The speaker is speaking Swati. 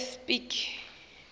espiki